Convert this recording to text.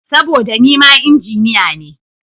Saboda nima Injiniya ne.